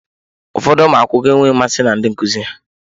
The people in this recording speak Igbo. Ụfọdụ ụmụ akwụkwọ enweghị mmasị na ndị nkuzi ha.